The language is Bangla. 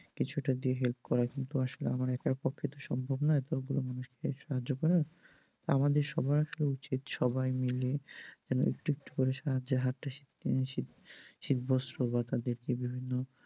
কিছু একটা দিয়ে help করা কিন্তু আসলে আমার একার পক্ষে তো সম্ভব নয় এতগুলো মানুষকে সাহায্য করার, আমাদের সবার উচিত সবাই মিলে একটু একটু করে সাহায্যের হাতটা শীত বস্ত্র বা তাদেরকে বিভিন্ন